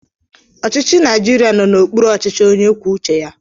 Ọchịchị Naijiria nọ n'okpuru ọchịchị onye kwuo uche ya.